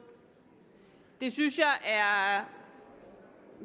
det synes jeg er